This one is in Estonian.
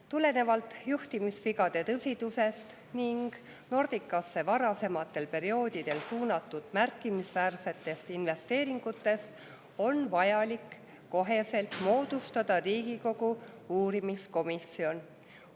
Tulenevalt juhtimisvigade tõsidusest ning Nordicasse varasematel perioodidel suunatud märkimisväärsetest investeeringutest, on vajalik otsekohe moodustada Riigikogu uurimiskomisjon.